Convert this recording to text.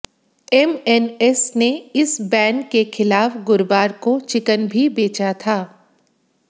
MNS ने इस ban के खिलाफ गुरुवार को चिकन भी बेचा था